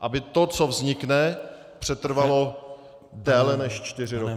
Aby to, co vznikne, přetrvalo déle než čtyři roky.